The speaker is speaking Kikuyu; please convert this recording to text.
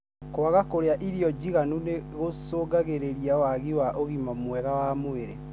Kwaga kũrĩa ĩrio njiganĩru nĩ gũshungagĩrĩria wagi wa ũgima mwega wa mwĩrĩ.